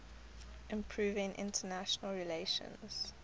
improving international relations